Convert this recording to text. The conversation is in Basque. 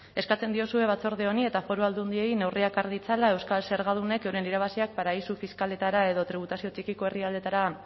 eskatzen diozue batzorde honi eta foru aldundiei neurriak har ditzala euskal zergadunek euren irabaziak paradisu fiskaletara edo tributazio txikiko herrialdeetara